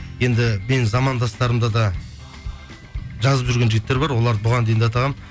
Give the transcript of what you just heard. енді менің замандастарымда да жазып жүрген жігіттер бар оларды бұған дейін де атағанмын